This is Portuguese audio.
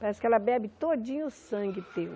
Parece que ela bebe todinho o sangue teu.